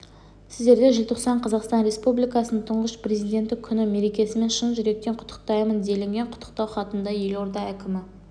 сіздерді желтоқсан қазақстан республикасының тұңғыш президенті күні мерекесімен шын жүректен құттықтаймын делінген құттықтау хатында елорда әкімі